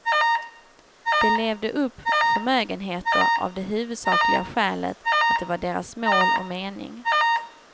De levde upp förmögenheter av det huvudsakliga skälet att det var deras mål och mening.